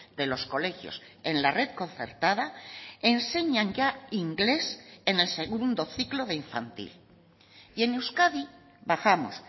de los colegios en la red concertada enseñan ya inglés en el segundo ciclo de infantil y en euskadi bajamos